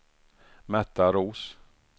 Märta Roos